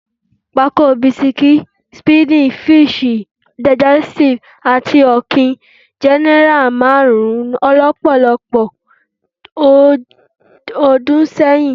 Pákó bisikí, speedy, fíṣì, dàìjẹ́sítíìfù àti ọ̀kín jẹ́ náírà márùn-ún lọ́pọ̀lọpọ̀ ọdún sẹ́yìn